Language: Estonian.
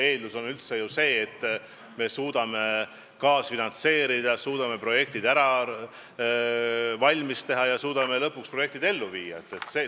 Eeldus üldse on ju see, et me suudame kaasfinantseerida, suudame kõik valmis teha, projektid ellu viia.